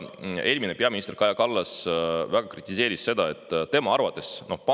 Eelmine peaminister Kaja Kallas väga kritiseeris.